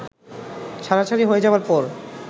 ছাড়াছাড়ি হয়ে যাবার পর